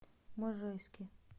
можайске